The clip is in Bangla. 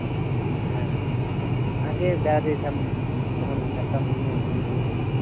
হ্যাঁ আগে যা যেতাম তখন একটা মনে তখন আনন্দ থাকতো।